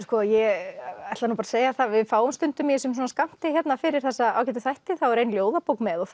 sko ég ætla nú bara að segja það að við fáum stundum í þessum skammti hérna fyrir þessa ágætu hætti þá er ein ljóðabók með og